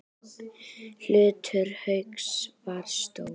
Hlutur Hauks var stór.